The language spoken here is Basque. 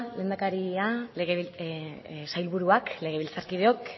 lehendakaria sailburuak legebiltzarkideok